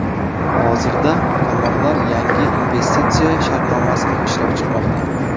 Hozirda tomonlar yangi investitsiya shartnomasini ishlab chiqmoqda.